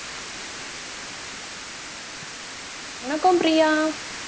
வணக்கம் பிரியா